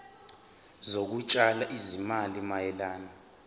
zokutshala izimali mayelana